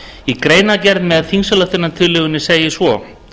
í greinargerð með þingsályktunartillögunni segir svo